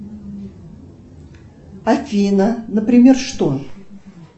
афина например что